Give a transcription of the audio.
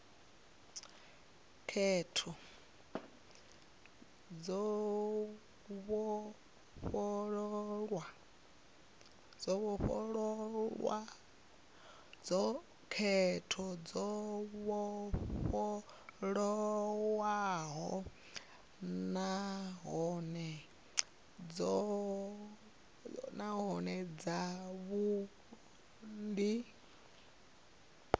khetho dzo vhofholowaho nahone dzavhudi